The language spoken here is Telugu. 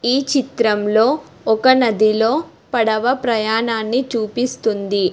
ఈ చిత్రంలో ఒక నదిలో పడవ ప్రయాణాన్ని చూపిస్తుంది.